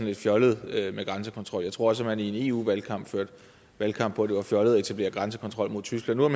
lidt fjollet med grænsekontrol jeg tror at man i en eu valgkamp førte valgkamp på at det var fjollet at etablere grænsekontrol mod tyskland nu har